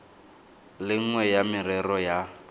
le nngwe ya merero ya